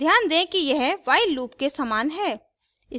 ध्यान दें कि यह while loop के समान है